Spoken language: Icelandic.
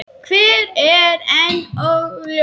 Hver er enn óljóst.